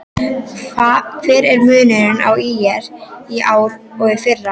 Hver er munurinn á ÍR í ár og í fyrra?